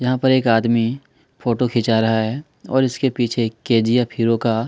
यहाँ पर एक आदमी फोटो खींचा रहा है और इसके पीछे एक के जी एफ हीरो का--